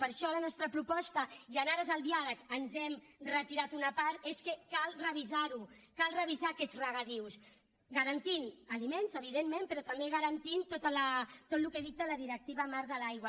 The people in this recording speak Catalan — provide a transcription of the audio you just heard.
per això la nostra proposta i en ares al diàleg ens hem retirat una part és que cal revisar ho cal revisar aquests regadius garantint aliments evidentment però també garantint tot el que dicta la directiva marc de l’aigua